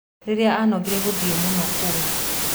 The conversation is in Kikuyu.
rĩria anogire gũthiĩ mũno kũu